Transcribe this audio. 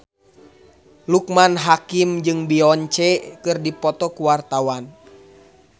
Loekman Hakim jeung Beyonce keur dipoto ku wartawan